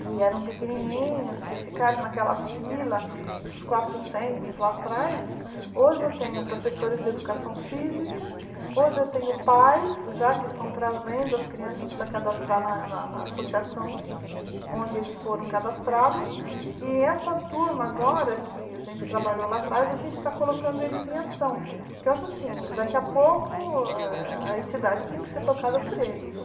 que eram pequenininhos que ficaram naquela fila dos quatrocentos lá atrás hoje eu tenho professores de educação física hoje eu tenho pais já que estão trazendo as crianças para cadastrar na na associação onde eles foram cadastrados e essa turma agora que a gente trabalhou lá atrás a gente está colocando eles em ação eu acho assim daqui a pouco a entidade tem que ser tocada por eles